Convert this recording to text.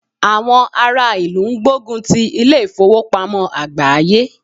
Àwọn ará ìlú ń gbógun ti ilé ìfowópamọ́ àgbááyé